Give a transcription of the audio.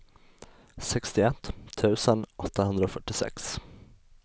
sextioett tusen åttahundrafyrtiosex